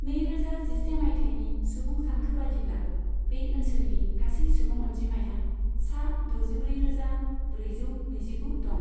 नैरोजा जिसे मायथाइनि सुबुं सानखो बादिब्ला बे ओनसोलनि गासै सुबुं अनजिमाया सा दजिब्रैरोजा ब्रैजौ नैजिगु दं।